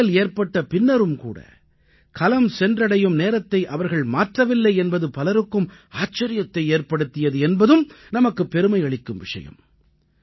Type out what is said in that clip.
தடங்கல் ஏற்பட்ட பின்னரும் கூட கலம் சென்றடையும் நேரத்தை அவர்கள் மாற்றவில்லை என்பது பலருக்கும் ஆச்சரியத்தை ஏற்படுத்தியது என்பதும் நமக்கு பெருமை அளிக்கும் விஷயம்